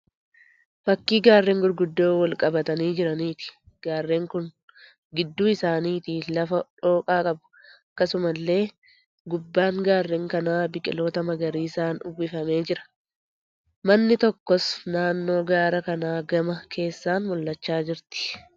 Fakkii gaarreen guguddoo wal qabatanii jiraniiti. Gaarreen kun gidduu isaaniiti lafa dhooqaa qabu. Akkasumallee gubbaab gaarreen kanaa biqiloota magariisaan uwwifamee jira. Manni tokkos naannoo gaara kana gamana keessaan mul'achaa jirti.